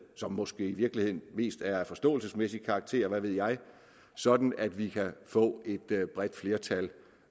som måske i virkeligheden mest er af forståelsesmæssig karakter hvad ved jeg sådan at vi kan få et bredt flertal